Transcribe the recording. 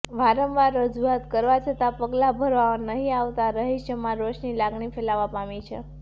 વારંવાર રજુઆત કરવા છતાં પગલાં ભરવામાં નહી આવતાં રહીશોમાં રોષની લાગણી ફેલાવા પામી છે